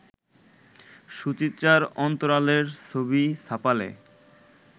সুচিত্রার অন্তরালের ছবি ছাপালে